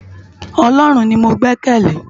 Òlòrún ni mó gbèkèlé